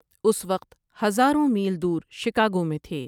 اس وقت ہزاروں میل دور شکاگو میں تھے۔